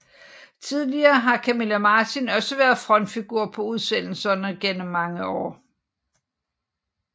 Tidligere har Camilla Martin også været frontfigur på udsendelserne gennem mange år